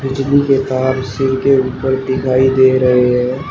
बिजली के तार सिर के ऊपर दिखाई दे रहे हैं।